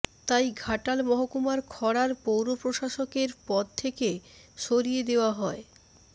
তাই ঘাটাল মহকুমার খড়ার পৌরপ্রশাসকের পদ থেকে সরিয়ে দেওয়া হয়